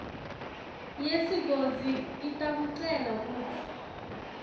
yesigodzi itakucela kutsi